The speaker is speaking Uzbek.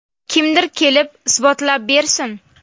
Kimdir kelib isbotlab bersin.